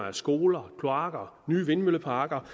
af skoler kloakker opførelse nye vindmølleparker